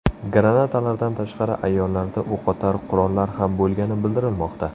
Granatalardan tashqari, ayollarda o‘qotar qurollar ham bo‘lgani bildirilmoqda.